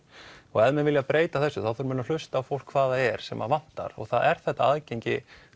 og ef menn vilja breyta þessu þá þurfa menn að hlusta á fólk hvað það er sem vantar og það er þetta aðgengi